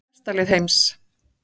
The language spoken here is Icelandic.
Eitt besta lið heims